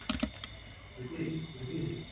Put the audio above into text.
ସ୍ଥିତି ସ୍ଥିତି